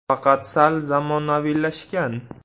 Faqat sal zamonaviylashgan.